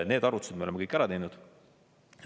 Need arvutused me oleme kõik ära teinud.